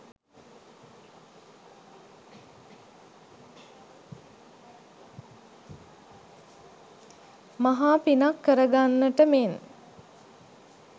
මහා පිනක් කර ගන්නට මෙන්